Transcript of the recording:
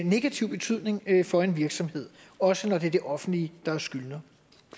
negativ betydning for en virksomhed også når det er det offentlige der er skyldner